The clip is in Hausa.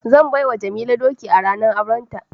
Zan bai wa Jamila doki a ranar aurenta